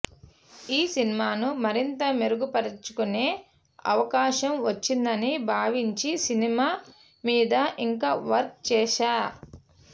ఈ సినిమాను మరింత మెరుగుపరచుకునే అవకాశం వచ్చిందని భావించి సినిమా మీద ఇంకా వర్క్ చేశా